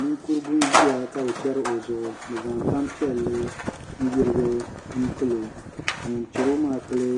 Ninkurigu n ʒiya ka bi chɛri o zuɣu bi zaŋ tanpiɛlli n yirigi n pilo ka ŋun chɛro maa pili